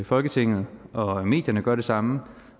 folketinget og medierne gør det samme